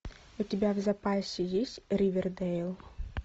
у тебя в запасе есть ривердейл